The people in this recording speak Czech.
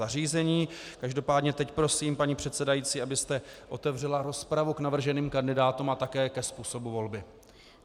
Každopádně teď prosím, paní předsedající, abyste otevřela rozpravu k navrženým kandidátům a také ke způsobu volby.